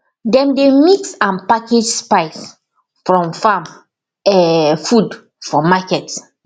dem dey mix and package spice from farm um food for market